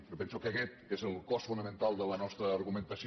jo penso que aquest és el cos fonamental de la nostra argumentació